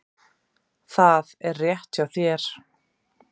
Það er rétt hjá þér.